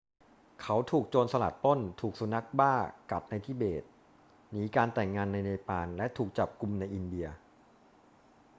เขาถูกโจรสลัดปล้น ถูกสุนัขบ้ากัดในทิเบต หนีการแต่งงานในเนปาล และถูกจับกุมในอินเดีย